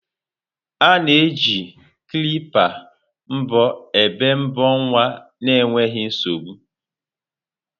A na-eji kilpa mbọ ébé mbọ nwa n'enweghị nsogbu.